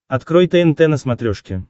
открой тнт на смотрешке